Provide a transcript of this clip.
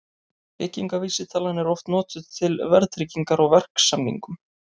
Byggingarvísitalan er oft notuð til verðtryggingar á verksamningum.